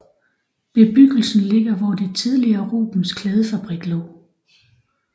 Bebyggelsen ligger hvor det tidligere Rubens Klædefabrik lå